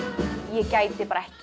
ég gæti bara ekki